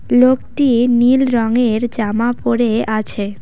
লোকটি নীল রঙের জামা পরে আছে।